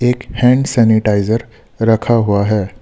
एक hand sanitiser रखा हुआ है।